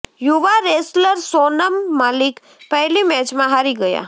યુવા રેસલર સોનમ મલિક પહેલી મેચમાં હારી ગયા